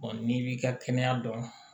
n'i b'i ka kɛnɛya dɔn